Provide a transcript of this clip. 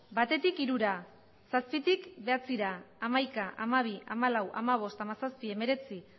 batetik hirura zazpitik bederatzira hamaika hamabi hamalau hamabost hamazazpi hemeretzi